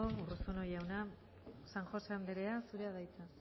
urruzuno jauna san josé andrea zurea da hitza